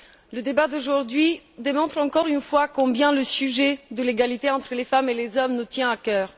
Le débat d'aujourd'hui démontre encore une fois combien le sujet de l'égalité entre les femmes et les hommes nous tient à cœur.